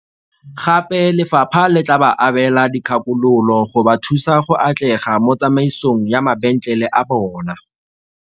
Gape lefapha le tla ba abela dikgakololo go ba thusa go atlega mo tsamaisong ya mabentlele a bona.